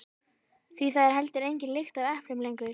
Því það er heldur engin lykt af eplum lengur.